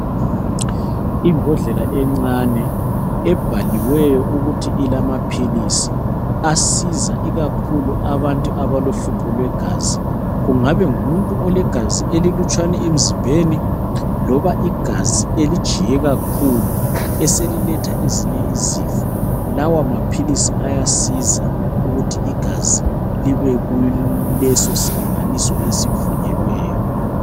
Imbodlela encane ebhaliweyo ukuthi ilamaphilisi asiza ikakhulu abantu abalohlupho lwegazi. Kungaba ngumuntu olegazi elilutshwane emzimbeni loba igazi elijiye kakhulu eseliletha ezinye izifo, lawa maphilisi ayasiza ukuthi igazi libe kuleso silinganiso esivunyelweyo.